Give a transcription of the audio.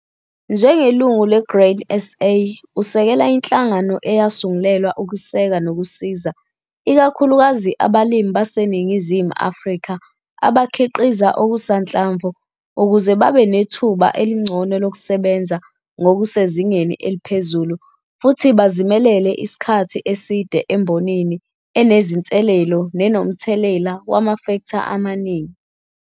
NJENGELUNGU LE-GRAIN SA USEKELA INHLANGANO EYASUNGULELWA UKUSEKA NOKUSIZA IKAKHULUKAZI ABALIMI BASENINGIGIZIMU AFRIKA ABAKHIQIZA OKUSANHLAMVU UKUZE BABE NETHUBA ELINGCONO LOKUSEBENZA NGOKUSEZINGENI ELIPHEZULU FUTHI BAZIMELELE ISIKHATHI ESIDE EMBONINI ENEZINSELELO NENOMTHELELA WAMAFEKTHA AMANINGI